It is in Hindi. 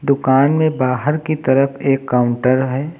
दुकान में बाहर की तरफ एक काउंटर है।